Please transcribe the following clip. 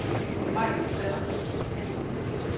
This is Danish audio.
Majken Sander